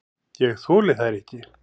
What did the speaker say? Ég þoli þær ekki.